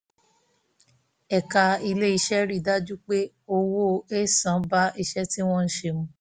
ẹ̀ka ilé-iṣẹ́ rí i dájú pé owó ẹ̀san bá iṣẹ́ tí wọ́n ṣe mu